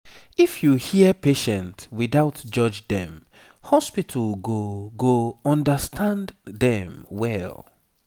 if you hear patient without judge dem hospital go go understand dem well